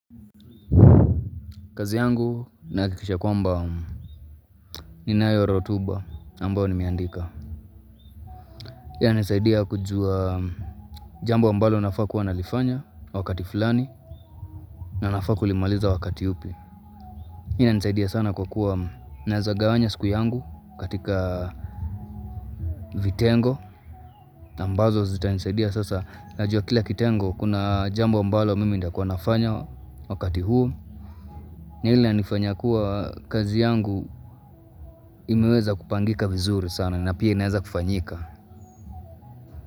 Kazi yangu nahakikisha kwamba ninayo rotuba ambao nimeandika. Hii inanisaidia kujua jambo ambalo nafaa kuwa nalifanya wakati fulani na nafaa kulimaliza wakati upi. Hii inanisaidia sana kwa kuwa naeza gawanya siku yangu katika vitengo. Ambazo zitanisaidia sasa. Najua kila kitengo kuna jambo ambalo mimi nitakua nafanya wakati huu. Na hili linifanya kuwa kazi yangu imeweza kupangika vizuri sana na pia inaeza kufanyika.